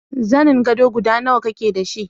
Zanin gado guda nawa kike da shi?